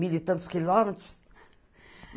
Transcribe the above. Mil e tantos quilômetros.